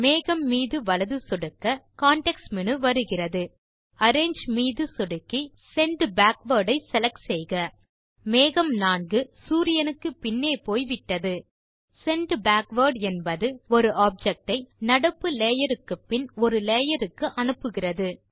மேகம் மீது வலது சொடுக்க கான்டெக்ஸ்ட் மேனு வருகிறது அரேஞ்சு மீது சொடுக்கி செண்ட் பேக்வார்ட் ஐ செலக்ட் செய்க மேகம் 4 சூரியனுக்கு பின்னே போய் விட்டது செண்ட் பேக்வார்ட் என்பது ஒரு ஆப்ஜெக்ட் ஐ நடப்பு லேயர் க்கு பின் ஒரு லேயருக்கு அனுப்புகிறது